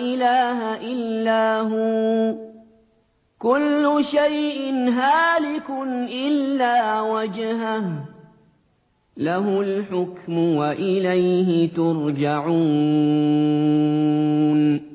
إِلَٰهَ إِلَّا هُوَ ۚ كُلُّ شَيْءٍ هَالِكٌ إِلَّا وَجْهَهُ ۚ لَهُ الْحُكْمُ وَإِلَيْهِ تُرْجَعُونَ